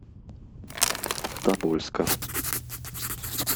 тобольска